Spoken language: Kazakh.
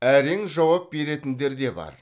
әрең жауап беретіндері де бар